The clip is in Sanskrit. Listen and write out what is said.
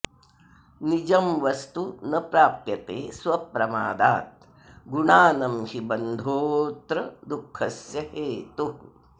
निजं वस्तु न प्राप्यते स्वप्रमादात् गुणानं हि बन्धोऽत्र दुःखस्य हेतुः